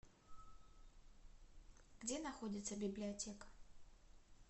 где находится библиотека